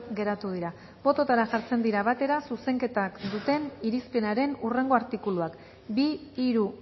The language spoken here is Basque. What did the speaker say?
geratu dira bototara jartzen dira batera zuzenketak duten irizpenaren hurrengo artikuluak bi hiru